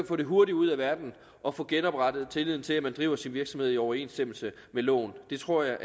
få det hurtigt ud af verden og få genoprettet tilliden til at man driver sin virksomhed i overensstemmelse med loven det tror jeg